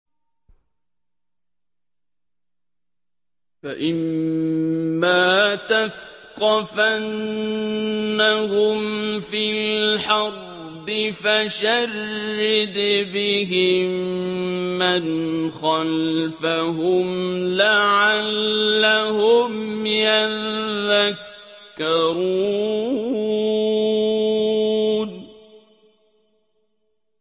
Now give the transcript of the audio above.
فَإِمَّا تَثْقَفَنَّهُمْ فِي الْحَرْبِ فَشَرِّدْ بِهِم مَّنْ خَلْفَهُمْ لَعَلَّهُمْ يَذَّكَّرُونَ